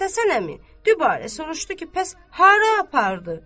Məmməd Həsən əmi dübarə soruşdu ki, bəs hara apardı?